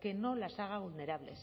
que no las haga vulnerables